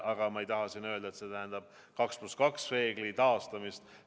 Aga ma ei taha siin öelda, et see tähendab 2 + 2 reegli taastamist.